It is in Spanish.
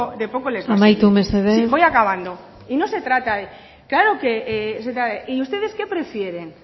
de poco les va a servir amaitu mesedez sí voy acabando y no se trata de claro que se trata de y ustedes qué prefieren